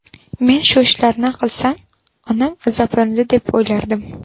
Men shu ishlarni qilsam, onam azoblanadi deb o‘ylardim.